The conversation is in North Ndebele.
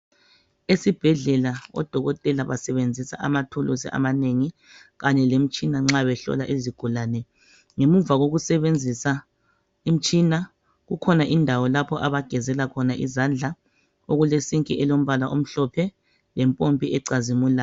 Esibhedlela odokotela basebenzisa amathuluzi amanengi kanye lemitshina nxa behlola izigulane ngemuva kokusebenzisa imitshina kukhona indawo lapho abagezela khona izandla okulesinki elombala omhlophe lempompi ecazimulayo.